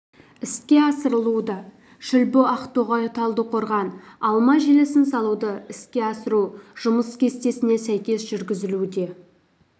іске асырылуда шүлбі ақтоғай талдықорған алма желісін салуды іске асыру жұмыс кестесіне сәйкес жүргізілуде